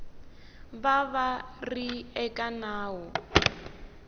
va va ri eka ndhawu